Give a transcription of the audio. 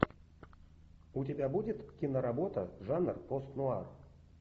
у тебя будет киноработа жанр постнуар